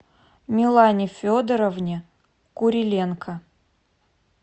милане федоровне куриленко